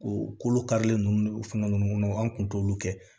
O kolo karilen ninnu fɛn ninnu kɔnɔ an kun t'olu kɛ